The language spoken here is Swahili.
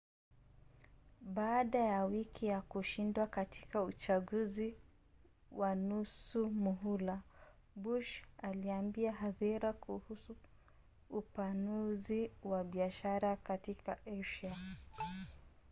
baada ya wiki ya kushindwa katika uchaguzi wa nusu muhula bush aliambia hadhira kuhusu upanuzi wa biashara katika asia